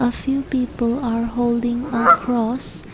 a few people are holding across.